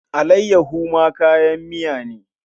Allayyaho ma kayan miya ne.